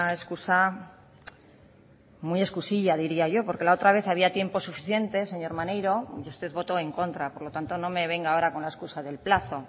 excusa muy excusilla diría yo porque la otra vez había tiempo suficiente señor maneiro y usted votó en contra por lo tanto no me venga ahora con la excusa del plazo